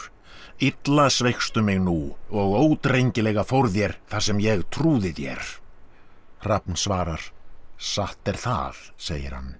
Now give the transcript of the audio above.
illa sveikstu mig nú og ódrengilega fór þér þar sem ég trúði þér svarar satt er það segir hann